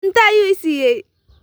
Cunto ayuu i siiyay